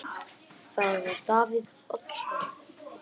Það var Davíð Oddsson.